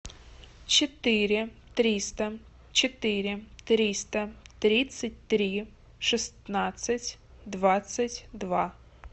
четыре триста четыре триста тридцать три шестнадцать двадцать два